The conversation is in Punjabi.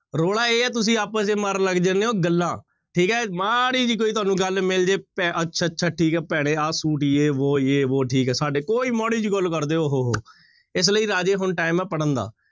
ਰੋਲਾ ਇਹ ਹੈ ਤੁਸੀਂ ਆਪਸ ਚ ਮਾਰਨ ਲੱਗ ਜਾਂਦੇ ਹੋ ਗੱਲਾਂ, ਠੀਕ ਹੈ ਮਾੜੀ ਜਿਹੀ ਕੋਈ ਤੁਹਾਨੂੰ ਗੱਲ ਮਿਲ ਜਾਏ ਭੈ ਅੱਛਾ ਅੱਛਾ ਠੀਕ ਹੈ ਭੈਣੇ ਆਹ ਸੂਟ ਯੇਹ ਵੋਹ ਯੇਹ ਵੋਹ ਠੀਕ ਹੈ ਸਾਡੇ ਕੋਈ ਮਾੜੀ ਜਿਹੀ ਗੱਲ ਕਰਦੇ ਓਹ ਹੋ ਹੋ, ਇਸ ਲਈ ਰਾਜੇ ਹੁਣ time ਹੈ ਪੜ੍ਹਨ ਦਾ।